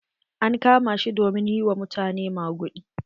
An kama shi domin yi wa mutane maguɗi.